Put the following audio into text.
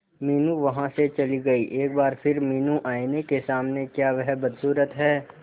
मीनू वहां से चली गई एक बार फिर मीनू आईने के सामने क्या वह बदसूरत है